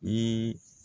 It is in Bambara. Ni